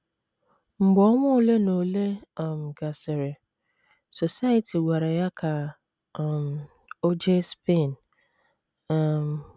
Mgbe ọnwa ole na ole um gasịrị, Society gwara ya ka um o jee Spain. um